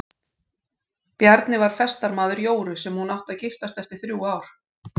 Bjarni var festarmaður Jóru sem hún átti að giftast eftir þrjú ár.